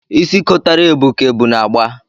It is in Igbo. Isi kotara ebu ka ebu na-agba.